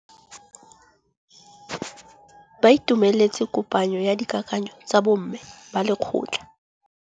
Ba itumeletse kôpanyo ya dikakanyô tsa bo mme ba lekgotla.